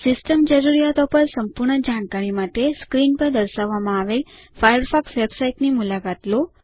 system જરૂરિયાતો પર સંપૂર્ણ જાણકારી માટે સ્ક્રીન પર દર્શાવવામાં આવેલ ફાયરફોક્સ વેબસાઇટ ની મુલાકાત લો